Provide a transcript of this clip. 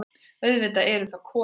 Auðvitað eru það konur.